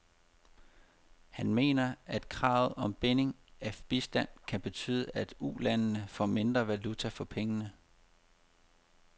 Han mener, at kravet om binding af bistanden kan betyde, at ulandene får mindre valuta for pengene.